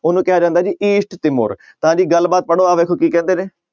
ਉਹਨੂੰ ਕਿਹਾ ਜਾਂਦਾ ਜੀ east ਤਾਂ ਜੀ ਗੱਲਬਾਤ ਪੜ੍ਹੋ ਆਹ ਵੇਖੋ ਕੀ ਕਹਿੰਦੇ ਨੇ